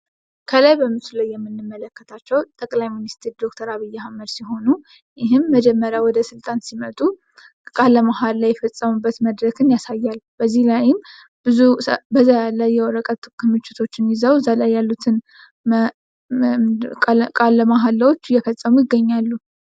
ከላይ ምስሉ ላይ የምንመለከተው ጠቅላይ ሚኒስትር ዶክተር አብይ አህመድ ሲሆኑ መጀመሪያ ስልጣን ሲይዙ ቃለ መሀላ የፈፀሙበትን መድረክ የሚያሳይ ነው ።እዛ ላይም በዛ ያለ የወረቀት ክምችቶችን ይዞው ቃለ መሀላ አየፈፀሙ ይታያሉ።